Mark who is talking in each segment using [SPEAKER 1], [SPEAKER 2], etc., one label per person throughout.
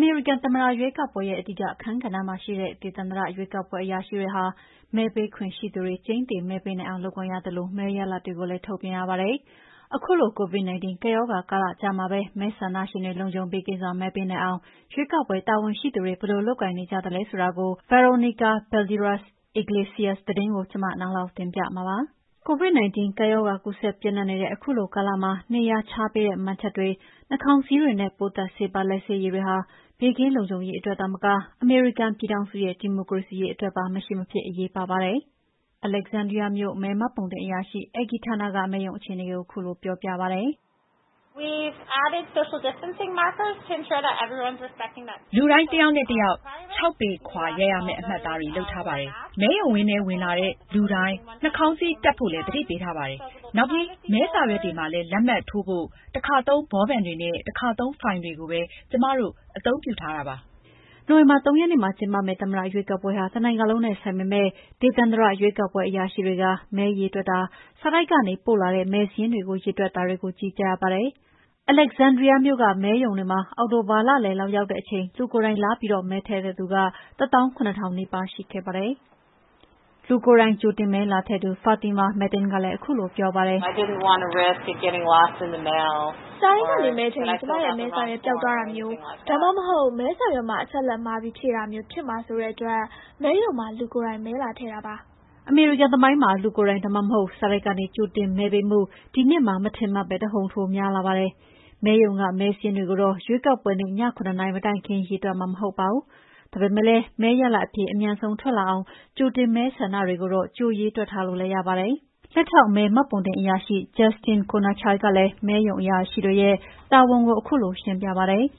[SPEAKER 1] မေရိကန်သမ္မတရွေးကောက်ပွဲရဲ့အဓိကအခန်းကဏ္ဍမှာရှိတဲ့ ဒေသန္တရရွေးကောက် ပွဲအရာရှိတွေဟာ မဲပေးခွင့် ရှိသူတွေ ကျိန်းသေမဲပေးနိုင်အောင်လုပ်ကိုင်ရသလို မဲရလဒ်တွေကိုလည်း ထုတ်ပြန်ကြရပါတယ်။ ခုလို COVID-19 ကပ်ရောဂါကာလကြားကပဲ မဲဆန္ဒရှင်တွေ လုံခြုံ ဘေးကင်းစွာမဲပေးနိုင်အောင် ရွေေးကောက်ပွဲတာဝန်ရှိသူတွေ လုပ်ကိုင်နေကြပါတယ်။VOA သတင်းထောက် Veronica Balderas Iglesias သတင်းပေးပို့ထားတာကို နန်းလောင်ဝ်က တင်ပြထားပါတယ်။ ကပ်ရောဂါကူးစက်ပျံ့နှံ့နတဲ့ခုလိုကာလမှာ နေရာခြားပေးတဲ့ မှန်ချပ်တွေ၊ နှာခေါင်းစည်းတွေနဲ့ ပိုးသတ်ဆေးပါ လက်ဆေးရည်တွေဟာ ဘေးကင်းလုံခြုံရေးအတွက်သာမက အမေရိကန်ပြည်ထောင်စုရဲ့ ဒီမိုကရေစီရေး အတွက်ပါ မရှိမဖြစ်အရေးပါပါတယ်။ Alexandria မြို့ရွေးကောက်ပွဲမဲမှတ်ပုံတင်အရာရှိ Angie Maniglia Turner က မဲလာပေးသူတွေ ဘေးကင်းရေး ဆောင်ရွက်ထားပုံကိုရှင်းပြပါတယ်။ “လူတိုင်း တွတယောက်နဲ့တယောက် ၆ ပေခွာ ရပ်ရမယ့်အမှတ်အသားတွေ လုပ်ထားပါတယ်။ မဲရုံပရဝုဏ်ထဲ ဝင်လာတဲ့လူတိုင်းနှာခေါင်းစည်းတပ်ဖို့လည်း သတိပေးထားပါတယ်။ နောက်ပြီး မဲစာရွက်မှာလက်မှတ်ထိုးဖို့လည်း တခါသုံးဘောပင်တွေနဲ့ တခါသုံး ဖိုင်တွေကိုပဲ ကျမတို့ အသုံးပြုထားတာပါ။” နိုဝင်ဘာ ၃ ရက်နေ့မှာကျင်းပမယ့် သမ္မတရွေးကောက်ပွဲဟာ တနိုင်ငံလုံးနဲ့ဆိုင်ပေမယ့် ဒေသန္တရ ရွေးကောက်ပွဲအရာရှိတွေက မဲရေတွက်တာ၊ စာတိုက်ကနေ ပို့လာတဲ့မဲစာရင်းတွေကို ရေတွက်တာတွေကို ကြီးကြပ်ရပါတယ်။ Alexandria မြို့ကမဲရုံမှာ အောက်တိုဘာလလယ်လောက်ရောက်တဲ့အချိန် လူကိုယ်တိုင်လာပြီး ကြိုတင်မဲထည့်သူ ၁သောင်း ၇ ထောင်နီးပါး ရှိခဲ့ပါတယ်။ လူကိုယ်တိုင်ကြိုတင်မဲလာထည့်သူ Fatimah Matteen ကလည်း မဲလာပေးရတဲ့ အကြောင်းရင်းကို ရှင်းပြပါတယ်။ "စာတိုက်ကနေမဲထည့်ရင် ကျမရဲ့ မဲစာရွက် ပျောက်သွားတာမျိုး၊ ဒါမှမဟုတ် မဲစာရွက်မှာ အချက်အလက် မှားပြီးဖြည့်မိတာမျိုး ဖြစ်မှာစိုးတဲ့အတွက် မဲရုံမှာ လူကိုယ်တိုင်မဲလာထည့်တာပါ။" အမေရိကန်သမိုင်းမှာ လူကိုယ်တိုင်ဒါမှမဟုတ် စာတိုက်ကနေ ကြိုတင်မဲပေးမှု ဒီနှစ်မှာ မထင်မှတ်ပဲ တဟုန်ထိုးများလာပါတယ်။ မဲရုံကမဲစာရင်းတွေကိုတော့ ရွေးကောက်ပွဲနေ့ ည၇ နာရီမတိုင်ခင် ရေတွက်မှာမဟုတ်ပါဘူး၊ ဒါပေမယ့် မဲရလဒ်အဖြေ အမြန်ဆုံးထွက်လာအောင် ကြိုတင်ဆန္ဒမဲတွေကိုတော့ ကြို ရေတွက်ထားလို့လည်းရပါတယ်။ Alexandriaမြို့ ရွေးကောက်ပွဲမဲမှတ်ပုံတင် လက်ထောက် မှတ်ပုံတင်အရာရှိ Justin Knoernschild ကလည်း မဲရုံတာဝန်ခံတွေရဲ့အလုပ်ကိုရှင်းပြပါတယ်။ “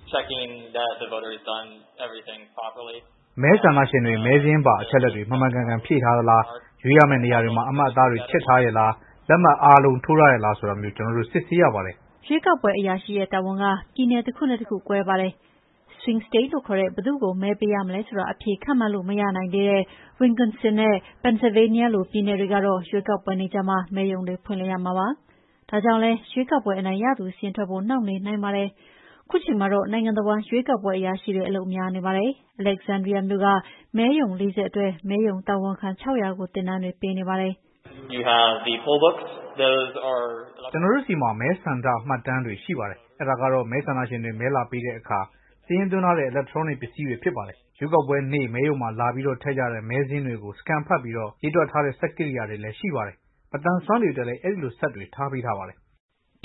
[SPEAKER 1] မဲဆန္ဒရှင်တွေ မဲစာရင်းပါအချက်အလက်တွေ မှန်မှန်ကန်ကန်ဖြည့်ထားသလား၊ ရွေးရမယ့်နေရာတွေမှာ အမှတ်အသားတွေ ခြစ်ထားရဲ့လား၊ လက်မှတ်အားလုံး ထိုးထားရဲ့လား ဆိုတာမျိုး ကျနော်တို့ စစ်ဆေးရပါတယ်။" ရွေးကောပွဲအရာရှိရဲ့တာဝန်က ပြည်နယ်တခုနဲ့တခု ကွဲပါတယ်။Swing State လို့ခေါ်တဲ့ ဘယ်သူ့ကို မဲပေးရမလဲဆိုတာ အဖြေခန့်မှန်းလို့မရနိုင်သေးတဲ့ Wisconsin နဲ့ Pennsylvania လိုပြည်နယ်တွေမှာတော့ ရွေးကောက်ပွနေ့ကျမှ မဲရုံတွေဖွင့်လှစ်ရမှာဖြစ်ပါတယ်။ ဒါကြောင့်လည်း ရွေးကောက်ပွဲ အနိုင်ရသူစာရင်းထွက်ဖို့ နှောင့်နှေးနိုင်ပါတယ်။ ခုချိန်မှာတော့ နိုင်ငံတဝှမ်း ရွေေးကာက်ပွဲအရာရှိတွေ အလုပ်များနေပါပြီ။ Alexandria မြို့ကမဲရုံ ၄၀ အတွက် မဲရုံတာဝန်ခံ ၆၀၀ ကိုသင်တန်းတွေ ပေးနေပါတယ်။ Justin Knoernschild ကပဲ ခုလိုဆက်ရှင်းပြပါတယ်။ “ကျနော်တို့ဆီမှာ မဲဆန္ဒမှတ်တမ်းတွေရှိပါတယ်။ အဲတာကတော့ မဲဆန္ဒရှင်တွေ မဲလာပေးတဲ့အခါ စာရင်းသွင်းထားတဲ့ အီလက်ထရောနစ် ပစ္စည်းတွေဖြစ်ပါတယ်။ ရွေးကောက်ပွဲနေ့ မဲရုံမှာလာပြီး ထည့်ကြတဲ့ မဲစာရင်းတွေကို Scan ဖတ်ပြီး ရေတွက်ပေးတဲ့ စက်ကိရိယာတွေလည်းရှိပါတယ်။ မသန်စွမ်းတွေအတွက်လည်း အဲဒီလို စက်တွေ ထားပေးပါတယ်”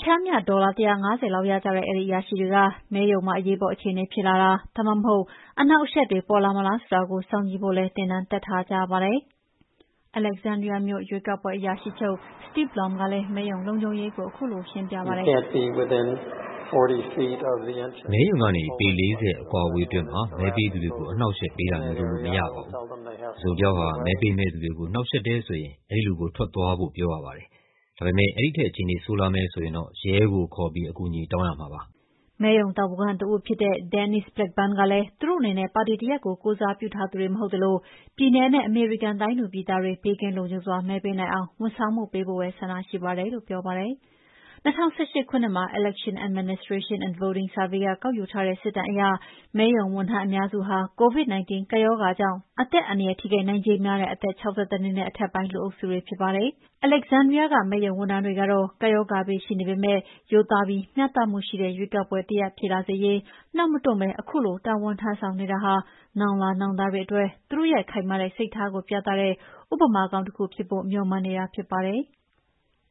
[SPEAKER 1] ပ ျှမ်းမ ျှဒေါ်လာ ၁၅၀ ရကြတဲ့ အဲဒီအရာရှိတွေက မဲရုံမှာအရေးပေါ်အခြေအနေဖြစ်လာတာ၊ ဒါမှမဟုတ် အနှောင့်အယှက်တွေပေါ်ပေါက်လာမလားဆိုတာကို စောင့်ကြည့်ဖို့လည်း သင်းတန်းတက်ထားကြရပါတယ်။ Alexandria မြို့Steve Lomb ရွေးကောက်ပွဲအရာရှိချုပ်ကလည်း မဲပေးသူတွေရဲ့လုံခြုံရေးကို အပြည့်အဝတာဝန်ယူပေးထားတဲ့ အစီအစဉ်ကို ရှင်းပြပါတယ်။ "မဲရုံကနေ ပေ ၄၀ အကွာအဝေးအတွင်း လူတွေကို အနှောင့်အယှက်ပေးတာမျိုးလုပ်လို့မရပါဘူး။ တစုံတယောက်က မဲပေးမယ့်သူတွေကို နှောင့်ယှက်တယ်ဆိုရင် အဲဒီလူကို ထွက်သွားဖို့ပြောရပါတယ်။ ဒါပေမယ့်အဲဒီထက်အခြေအနေဆိုးလာမယ်ဆိုရင်တော့ ရဲကိုခေါ်ပြီး အကူအညီတောင်းရမှာပါ။" မဲရုံတာဝန်ခံတဦးဖြစ်တဲ့ Denise Blackburn ကလည်း သူတို့အနေနဲ့ ပါတီတရပ်ကို ကိုယ်စားပြုထားသူတွေ မဟုတ်သလို ပြည်နယ်နဲ့ ပြည်သူပြည်သားတွေ ဘေးကင်းလုံခြုံစွာမဲပေးနိုင်အောင်ဝန်ဆောင်မှုပေးဖို့ပဲ ဆန္ဒရှိပါတယ်လို့ပြောပါတယ်။၂၀၁၈ ခုနှစ်မှာ Election Administration and Voting Survey ကကောက်ယူထားတဲ့စစ်တမ်းအရ မဲရုံဝန်ထမ်း အများစုဟာCOVID-19 ကပ်ရောဂါ ကြောင့်အသက်အန္တရယ်ထိခိုက်နိုင်ခြေများတဲ့ အသက် ၆၁ နဲ့အထက်ပိုင်း လူအုပ်စုတွေ များပါတယ်။ Alexandria ကမဲရုံဝန်ထမ်းတွေကတော့ ကပ်ရောဂါဘေးရှိနေပေမယ့် ရိုးသားပြီး မ ျှတမှုရှိတဲ့ရွေးကောက်ပွဲတရပ်ဖြစ်လာစေရေး နာက်မတွန့်ပဲ ခုလို တာဝန်ထမ်းဆောင်နေတာဟာ နောင်လာနောင်သားတွေအတွက် သူတို့ရဲ့ခိုင်မာတဲ့စိတ်ထားကိုပြတဲ့ သာဓကကောင်းတခုဖြစ်ဖို့ မေ ျှာ်မှန်းနေတာဖြစ်ပါတယ်။